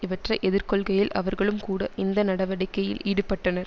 இவற்றை எதிர்கொள்கையில் அவர்களும் கூட இந்நடவடிக்கையில் ஈடுபட்டனர்